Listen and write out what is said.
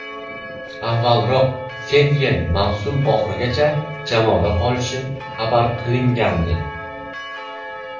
Avvalroq Setyen mavsum oxirigacha jamoada qolishi xabar qilingandi .